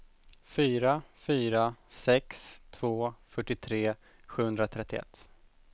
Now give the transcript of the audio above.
fyra fyra sex två fyrtiotre sjuhundratrettioett